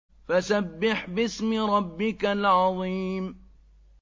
فَسَبِّحْ بِاسْمِ رَبِّكَ الْعَظِيمِ